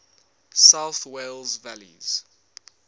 south wales valleys